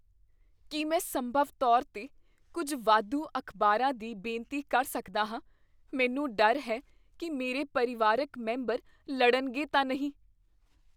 ਕੀ ਮੈਂ ਸੰਭਵ ਤੌਰ 'ਤੇ ਕੁੱਝ ਵਾਧੂ ਅਖ਼ਬਾਰਾਂ ਦੀ ਬੇਨਤੀ ਕਰ ਸਕਦਾ ਹਾਂ? ਮੈਨੂੰ ਡਰ ਹੈ ਕੀ ਮੇਰੇ ਪਰਿਵਾਰਕ ਮੈਂਬਰ ਲੜਨਗੇ ਤਾਂ ਨਹੀਂ।